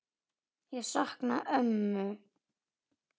Ég sakna ömmu.